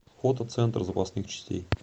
фото центр запасных частей